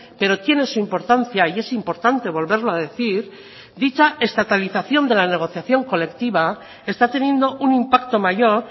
pero tiene su importancia y es importante volverlo a decir dicha estatalización de la negociación colectiva está teniendo un impacto mayor